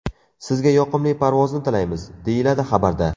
Sizga yoqimli parvozni tilaymiz!”, deyiladi xabarda.